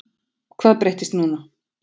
Hvað breyttist núna?